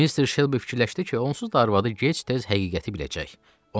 Mister Şelbi fikirləşdi ki, onsuz da arvadı gec-tez həqiqəti biləcək.